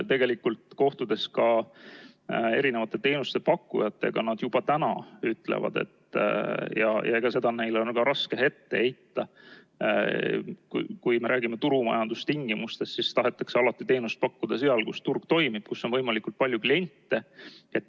Tegelikult, kohtudes teenusepakkujatega, ütlevad nad juba täna – ja seda on neile ka raske ette heita –, et kui me räägime turumajanduse tingimustest, siis nad tahavad alati teenust pakkuda seal, kus turg toimib, kus on võimalikult palju kliente.